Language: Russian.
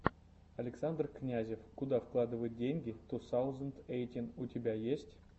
александр князев куда вкладывать деньги ту саузенд эйтин у тебя есть